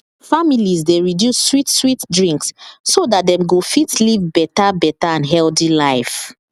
families dey reduce sweet sweet drinks so dat dem go fit live better better and healthy life